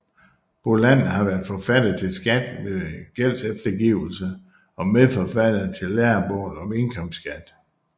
Bolander har været forfatter til Skat ved gældseftergivelse og medforfatter til Lærebog om indkomstskat